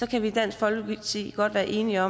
kan vi i dansk folkeparti godt være enige